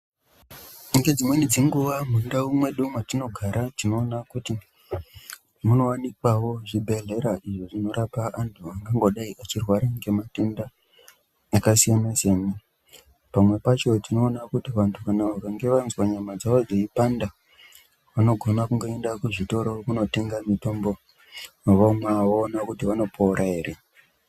Ngedzimweni dzenguwa mundau dzedu dzatinogara tinoona kuti munowanikwawo zvibhedhlera izvo zvinorapwa antu akangodai achirwara ngematenda akasiyana siyana pamwe pacho tinoona kuti vantu vakanhe vazwa nyama dzavo dzeipanda vanogona kungoenda kuzvitoro kunotenga mitombo vomwa voona kuti vanopora ere.